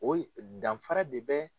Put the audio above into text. O danfara de bɛ